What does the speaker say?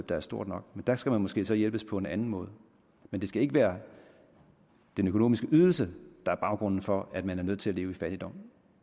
der er stort nok dér skal man måske så hjælpes på en anden måde men det skal ikke være den økonomiske ydelse der er baggrunden for at man er nødt til at leve i fattigdom